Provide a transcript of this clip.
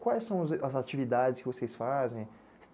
Quais são as atividades que vocês fazem?